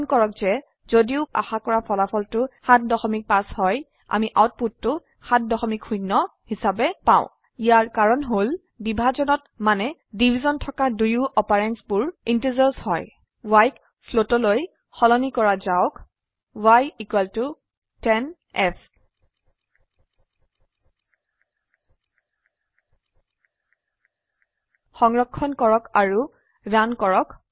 মন কৰক যে যদিও বা স্বত্তেও আশা কৰা ফলাফলটো ৭৫ হয় আমি আউটপুটটো ৭০ হিচাবে পাও ইয়াৰ কাৰন হল বিভাজনত মানে ডিভিশ্যন থকা দুয়ো operandsবোৰ ইণ্টিজাৰ্ছ হয় y ক ফ্লোট লৈ y10f সলনি কৰা যাওক সংৰক্ষণ কৰক আৰু ৰান কৰক